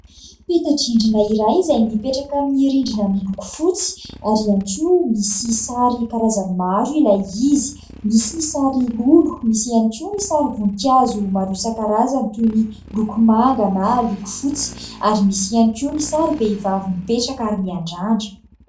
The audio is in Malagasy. Peta-drindrina iray izay mipetaka amin'ny rindrina miloko fotsy ary ihany koa misy sary karazany maro ilay izy : misy ny sary lolo, misy ihany koa ny sary vonikazo isan-karazany toy ny loko manga na loko fotsy ary misy ihany koa ny sary vehivavy mipetraka miandrandra.